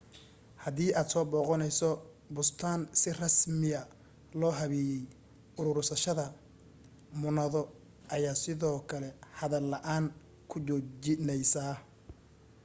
hadii aad soo booqanayso bustaan si rasmiya loo habeeyay uruursashada muunado ayaa sidoo kale hadal la'aan ku joojinaysa